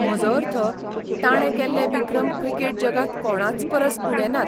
म्हजो अर्थ, ताणें केल्ले विक्रम क्रिकेट जगांत कोणाचपरस उणे नात.